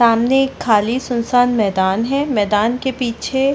सामने एक खाली सुनसान मैदान है मैदान के पीछे --